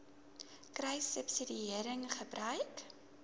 kruissubsidiëringgebruik